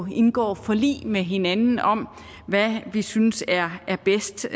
indgår forlig med hinanden om hvad vi synes er bedst